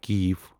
ک